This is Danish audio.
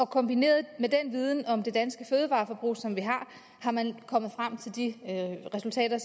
kombineret med den viden om det danske fødevareforbrug er man kommet frem til de resultater